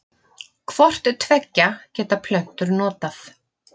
Hvort tveggja geta plöntur notað.